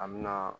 A mina